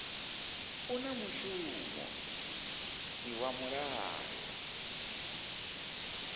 u na mushumo iwa mulayo